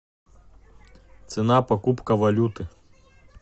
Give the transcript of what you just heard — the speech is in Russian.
цена покупка валюты